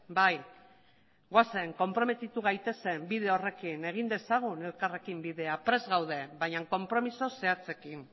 bai goazen konprometitu gaitezen bide horrekin egin dezagun elkarrekin bidea prest gaude baina konpromezu zehatzekin